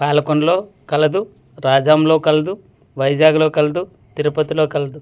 పాలకుండలు కలదు రాజం లో కలదు వైజాగ్ లో కలదు తిరుపతి లో కలదు.